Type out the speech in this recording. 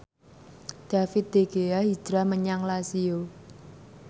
David De Gea hijrah menyang Lazio